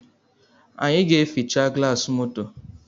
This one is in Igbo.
Anyị ga-eficha gịlasị moto